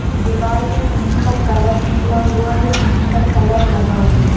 दिवाल में कही पर कलर निकला हुआ है कही पर कलर लगा हुआ है।